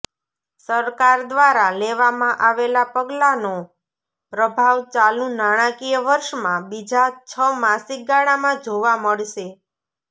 સરકાર દ્વારા લેવામાં આવેલા પગલાંનો પ્રભાવ ચાલુ નાણાકીય વર્ષમાં બીજા છ માસિક ગાળામાં જોવા મળશે